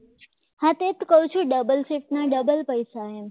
કહું છું ડબલ સીટના ડબલ પૈસા એમ